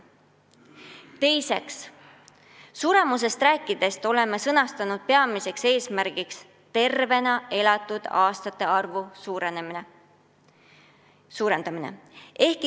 Teiseks, suremusest rääkides oleme sõnastanud peamiseks eesmärgiks tervena elatud aastate arvu suurendamise.